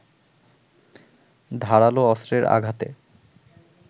ধারাল অস্ত্রের আঘাতে